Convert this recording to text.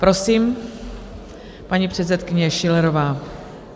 Prosím, paní předsedkyně Schillerová.